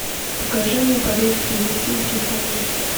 покажи мне побег с елисейских полей